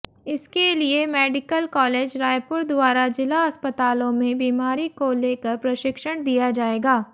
इसके लिए medical college Raipur द्वारा जिला अस्पतालों में बीमारी को लेकर प्रशिक्षण दिया जाएगा